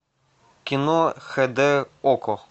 кино хд окко